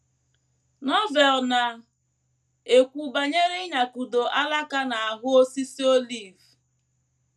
Novel na - ekwu banyere ịnyakụdo alaka n’ahụ osisi olive